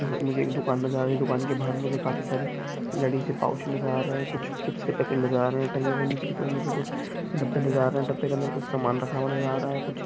मुझे एक दुकान नज़र आ रही है दुकान के बाहर मुझे काफी सारी पाउच नज़र आ रहे हैं कुछ चिप्स के पैकेट नज़र आ रहे हैं टंगे हुए नीचे की तरफ मुझे कुछ डब्बे नज़र आ रहे है डब्बे के अंदर कुछ समान रखा हुआ नज़र आ रहा है।